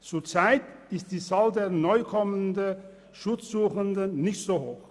Zurzeit ist die Zahl der neu ankommenden Schutzsuchenden nicht so hoch.